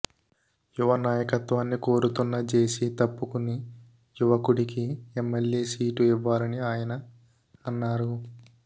యువ నాయకత్వాన్ని కోరుతున్న జెసి తప్పుకుని యువకుడికి ఎమ్మెల్యే సీటు ఇవ్వాలని ఆయన అన్నారు